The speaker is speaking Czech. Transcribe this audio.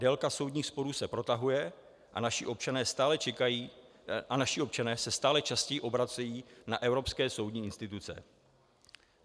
Délka soudních sporů se protahuje a naši občané se stále častěji obracejí na evropské soudní instituce.